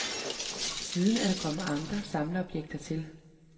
Siden er der kommet andre samleobjekter til.